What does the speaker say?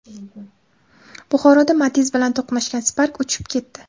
Buxoroda Matiz bilan to‘qnashgan Spark uchib ketdi.